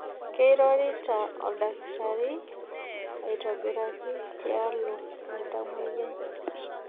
Keirorita olkitari aitobiraki tialo oltamwoyiai.